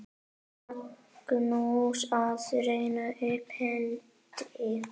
Magnús: Að rétta upp hendi.